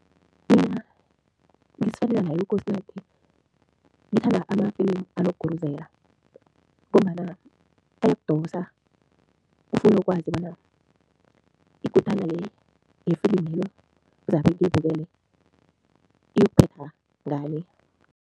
Mina ngizifanele naye uKosinathi, ngithanda amafilimu anokuguruzela ngombana ayokudosa, ufune ukwazi bona ikutana le yefilimelo zabe ngiyibukele, iyokuphetha ngani.